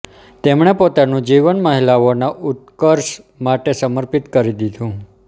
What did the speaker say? તેમણે પોતાનું જીવન મહિલાઓના ઉત્કર્ષ માટે સમર્પિત કરી દીધું